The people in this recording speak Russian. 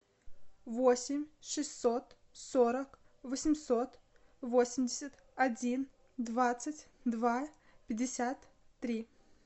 восемь шестьсот сорок восемьсот восемьдесят один двадцать два пятьдесят три